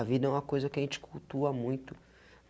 A vida é uma coisa que a gente cultua muito.